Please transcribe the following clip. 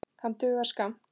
Hann dugar skammt.